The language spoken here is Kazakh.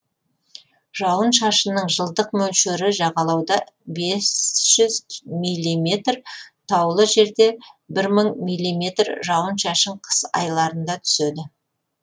жауын шашынның жылдық мөлшері жағалауда бес жүз миллиметр таулы жерде мың миллиметр жауын шашын қыс айларында түседі